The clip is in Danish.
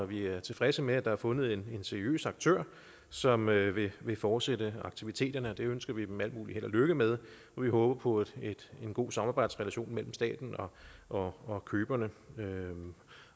vi er tilfredse med at der er fundet en seriøs aktør som vil vil fortsætte aktiviteterne det ønsker vi dem al mulig held og lykke med vi håber på en god samarbejdsrelation mellem staten og og køberne